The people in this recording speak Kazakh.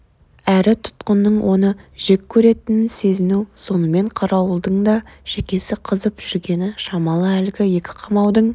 әрі тұтқынның оны жек көретінін сезіну сонымен қарауылдың да шекесі қызып жүргені шамалы әлгі екі қамаудың